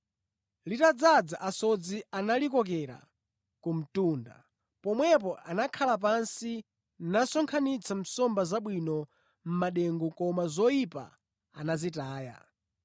Litadzaza, asodzi analikokera ku mtunda. Pomwepo anakhala pansi nasonkhanitsa nsomba zabwino mʼmadengu koma zoyipa anazitaya.